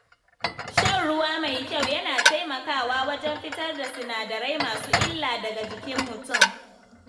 Shan ruwa mai kyau yana taimakawa wajen fitar da sinadarai masu illa daga jikin mutum.